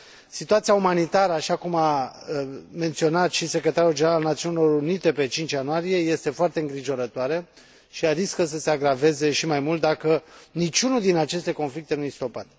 Situația umanitară, așa cum a menționat și secretarul general al Națiunilor Unite pe 5 ianuarie, este foarte îngrijorătoare și riscă să se agraveze și mai mult dacă niciunul din aceste conflicte nu este stopat.